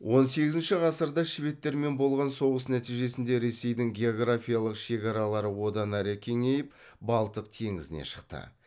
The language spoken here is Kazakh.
он сегізінші ғасырда шведтермен болған соғыс нәтижесінде ресейдің географиялық шекаралары одан әрі кеңейіп балтық теңізіне шықты